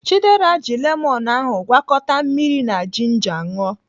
Chidera ji lemonụ́ ahụ gwakọta mmiri na jinja ṅụọ.